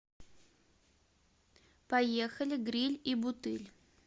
поехали гриль и бутыль